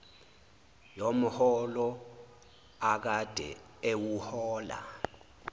yomholo akade ewuhola